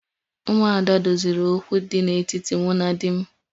Umuada' doziri okwu dị n'etiti mụ na di m